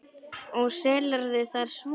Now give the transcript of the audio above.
Og selurðu það svo?